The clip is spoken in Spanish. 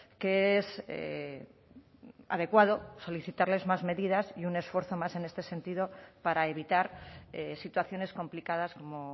que es adecuado solicitarles más medidas y un esfuerzo más en este sentido para evitar situaciones complicadas como